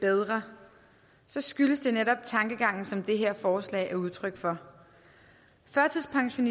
bedre så skyldes det netop den tankegang som det her forslag er udtryk for førtidspension